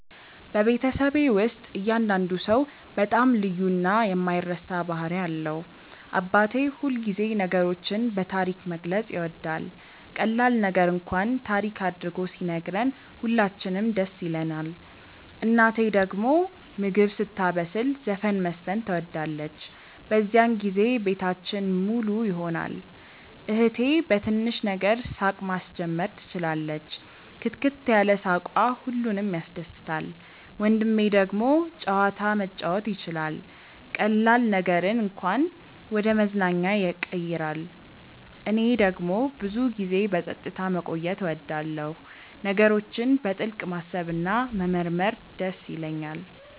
በቤተሰቤ ውስጥ እያንዳንዱ ሰው በጣም ልዩ እና የማይረሳ ባህሪ አለው። አባቴ ሁልጊዜ ነገሮችን በታሪክ መግለጽ ይወዳል፤ ቀላል ነገር እንኳን ታሪክ አድርጎ ሲነግረን ሁላችንም ደስ ይለንናል። እናቴ ደግሞ ምግብ ስታበስል ዘፈን መዝፈን ትወዳለች፤ በዚያን ጊዜ ቤታችን ሙሉ ይሆናል። እህቴ በትንሽ ነገር ሳቅ ማስጀመር ትችላለች፣ ክትክት ያለ ሳቅዋ ሁሉንም ያስደስታል። ወንድሜ ደግሞ ጨዋታ መጫወት ይችላል፤ ቀላል ነገርን እንኳን ወደ መዝናኛ ያቀይራል። እኔ ደግሞ ብዙ ጊዜ በጸጥታ መቆየት እወዳለሁ፣ ነገሮችን በጥልቅ ማሰብ እና መመርመር ይደስ ይለኛል።